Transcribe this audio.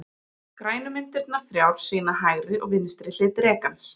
Grænu myndirnar þrjár sýna hægri og vinstri hlið drekans.